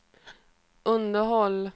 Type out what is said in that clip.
underhåll